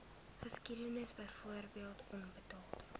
geskiedenis byvoorbeeld onbetaalde